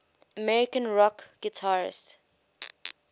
american rock guitarists